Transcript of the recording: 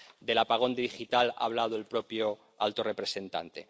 Del apagón digital ha hablado el propio alto representante.